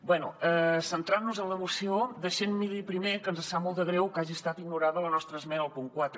bé centrant nos en la moció deixi’m dir li primer que ens sap molt de greu que hagi estat ignorada la nostra esmena al punt quatre